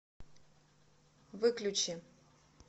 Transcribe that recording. выключи